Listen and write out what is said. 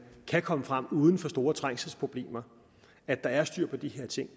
kan komme frem uden for store trængselsproblemer og at der er styr på de her ting